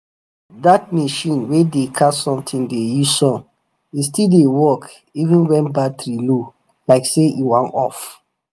that machine way dey catch something dey use sun e still dey work even when battery low like say e wan off.